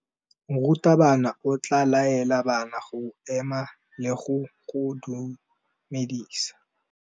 Morutabana o tla laela bana go ema le go go dumedisa.